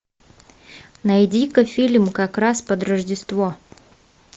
найди ка фильм как раз под рождество